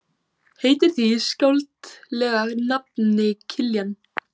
Heitir því skáldlega nafni Kiljan.